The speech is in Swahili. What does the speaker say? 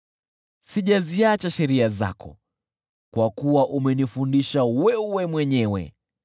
Sijaziacha sheria zako, kwa kuwa umenifundisha wewe mwenyewe.